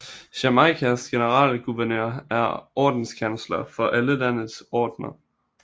Jamaicas generalguvernør er ordenskansler for alle landets ordener